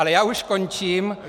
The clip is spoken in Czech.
Ale já už končím.